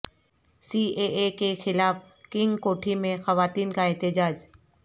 C A A کے خلاف کنگ کوٹھی میں خواتین کا احتجاج